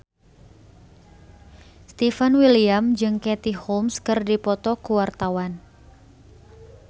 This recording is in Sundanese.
Stefan William jeung Katie Holmes keur dipoto ku wartawan